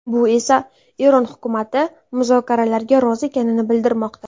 Bu esa Eron hukumati muzokaralarga rozi ekanini bildirmoqda.